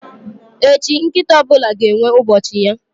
Echi, nkịta ọ bụla ga-enwe ubochi ya.